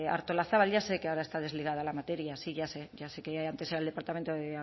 artolazabal ya sé que ahora está desligada de la materia sí ya sé ya sé que antes era del departamento de